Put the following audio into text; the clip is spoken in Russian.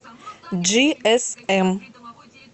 джиэсэм